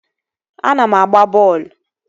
Ana m agba bọọlụ